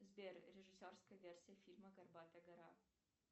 сбер режиссерская версия фильма горбатая гора